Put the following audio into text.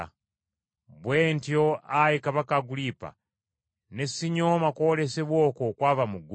“Bwe ntyo, Ayi Kabaka Agulipa, ne sinyooma kwolesebwa okwo okwava mu ggulu,